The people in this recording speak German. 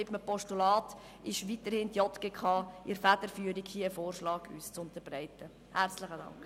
Mit einem Postulat hat die JGK weiterhin die Federführung, sodass sie uns einen Vorschlag unterbreiten kann.